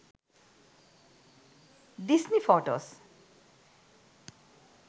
disney photos